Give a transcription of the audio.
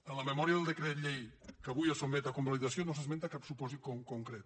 en la memòria del decret llei que avui es sotmet a convalidació no s’esmenta cap supòsit concret